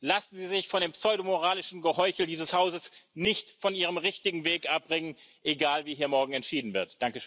Lassen Sie sich von dem pseudomoralischen Geheuchel dieses Hauses nicht von Ihrem richtigen Weg abbringen egal, wie hier morgen entschieden wird.